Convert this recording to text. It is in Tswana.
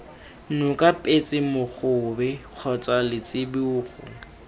noka petse mogobe kgotsa letsibogo